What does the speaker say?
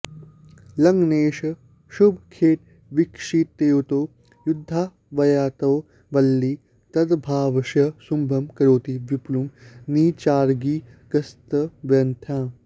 लग्नेषः शुभखेटवीक्षितयुतो यद्भावयातो वल्ली तद्भावस्य शुभं करोति विपुलं नीचारिगस्त्वन्यथां